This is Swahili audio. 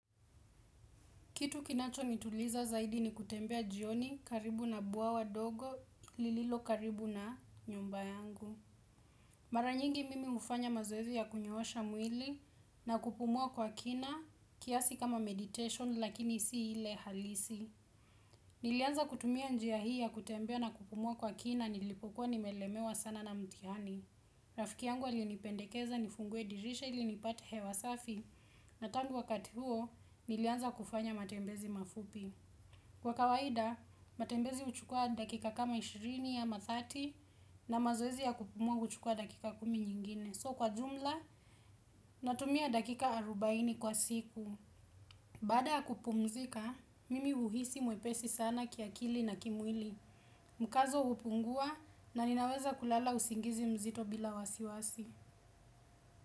Kitu kinacho nituliza zaidi ni kutembea jioni karibu na bwawa dogo lililo karibu na nyumba yangu. Mara nyingi mimi hufanya mazoezi ya kunyoosha mwili na kupumua kwa kina kiasi kama meditation lakini si ile halisi. Nilianza kutumia njia hii ya kutembea na kupumua kwa kina nilipokuwa nimelemewa sana na mtihani. Rafiki yangu alinipendekeza nifungue dirisha ili nipate hewa safi na tangu wakati huo nilianza kufanya matembezi mafupi Kwa kawaida, matembezi huchukua dakika kama 20 ya ma 30 na mazoezi ya kupumua huchukua dakika kumi nyingine So kwa jumla, natumia dakika 40 kwa siku Baada ya kupumzika, mimi huhisi mwepesi sana kiakili na kimwili mkazo hupungua na ninaweza kulala usingizi mzito bila wasiwasi.